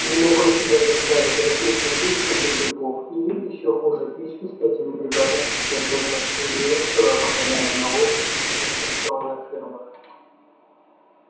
не мог он себя заставить рыхлить землицу для грибов или ещё хуже пичкать этими грибами жирных свиней стоя по колено в навозе на станционных фермах